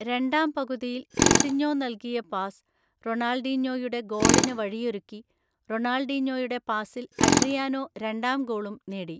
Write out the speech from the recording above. രണ്ടാം പകുതിയിൽ സിസിഞ്ഞോ നൽകിയ പാസ് റൊണാൾഡീഞ്ഞോയുടെ ഗോളിന് വഴിയൊരുക്കി, റൊണാൾഡീഞ്ഞോയുടെ പാസിൽ അഡ്രിയാനോ രണ്ടാം ഗോളും നേടി.